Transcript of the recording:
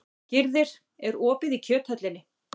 Gyrðir, er opið í Kjöthöllinni?